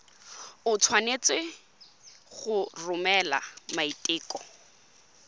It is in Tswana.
o tshwanetse go romela maiteko